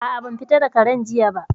A'a, ban fita da Karen jiya ba